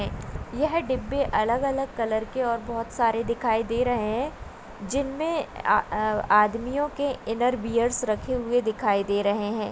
येह डिब्बे अलग-अलग कलर के और बहोत सारे दिखाई दे रहे है जिनमे आदमिओ के इननेर वेयर्स रखे हुए दिखाई दे रहे है।